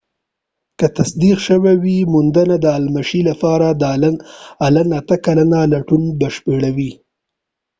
که تصدیق شوی وي موندنه د المشي لپاره د الن اته کلن لټون بشپړوي